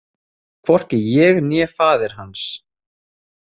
Hvorki ég né faðir hans.